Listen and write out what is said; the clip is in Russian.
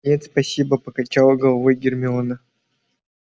нет спасибо покачала головой гермиона